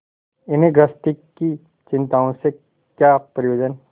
इन्हें गृहस्थी की चिंताओं से क्या प्रयोजन